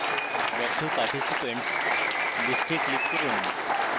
back to participants list এ click করুন